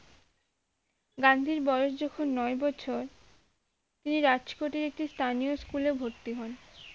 গান্ধীর বয়স যখন নয় বছর তিনি রাজ কোর্টের একটি স্থানীয় school এ ভর্তি হন